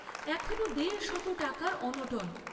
এখনো দেড় শত টাকার অনটন।